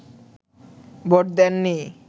vote দেননি